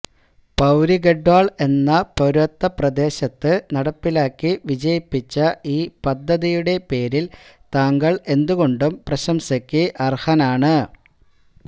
പൌരിഗെഢ്വാള് എന്ന പര്വതപ്രദേശത്ത് നടപ്പിലാക്കി വിജയിപ്പിച്ച ഈ പദ്ധതിയുടെ പേരില് താങ്കള് എന്തുകൊണ്ടും പ്രശംസയ്ക്ക് അര്ഹനാണ്